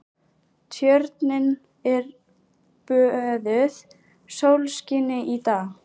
Tjörnin er böðuð sólskini í dag.